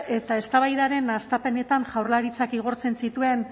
eta eztabaida hastapenetan jaurlaritzak igortzen zituen